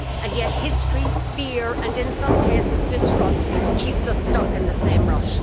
Yet history, fear and, in some cases, distrust keeps us stuck in the same rut.